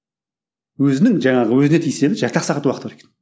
өзінің жаңағы өзіне тиесілі жарты ақ сағат уақыты бар екен